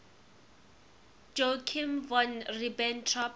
joachim von ribbentrop